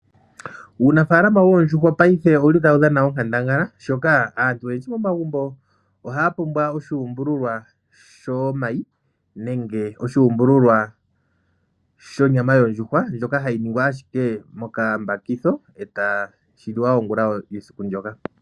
Uunafala woondjuhwa paife owuli tawu dhana onkandangala shoka aantu oyendji momagumbo ohaya pumbwa oshuumbululwa shomayi nenge oshuumbululwa shonyama yondjuhwa ndjoka hayi ningwa ashike mokambakitho etashi liwa ongula yesiku ndyoka.